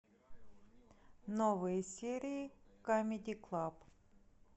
новые серии камеди клаб